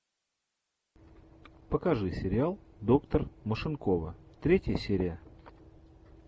покажи сериал доктор машинкова третья серия